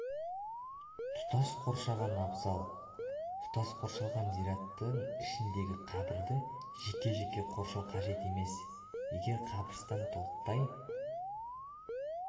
тұтас қоршаған абзал тұтас қоршалған зираттың ішіндегі қабірді жеке-жеке қоршау қажет емес егер қабірстан толықтай